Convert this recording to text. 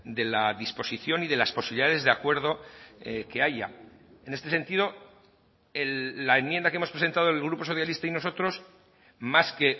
de la disposición y de las posibilidades de acuerdo que haya en este sentido la enmienda que hemos presentado el grupo socialista y nosotros más que